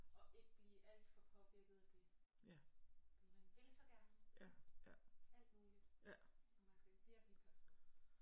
Og ikke blive alt for påvirket af det for man vil så gerne alt muligt og man skal virkelig passe på